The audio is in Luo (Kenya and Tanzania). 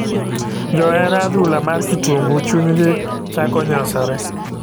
Johera adhula mar kitungu chuny gi chako nyosore .